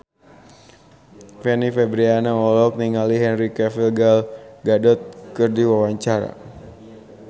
Fanny Fabriana olohok ningali Henry Cavill Gal Gadot keur diwawancara